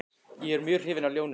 Ég er mjög hrifinn af ljónum.